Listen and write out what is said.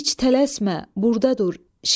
Heç tələsmə, burdadır.